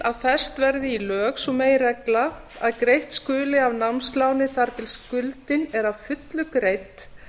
að fest verði í lög sú meginregla að greitt skuli af námsláni þar til skuldin er að fullu greidd